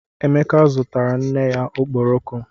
Emeka zụtara nne ya ọkpọrọko